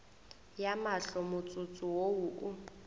ya mahlo motsotso wo o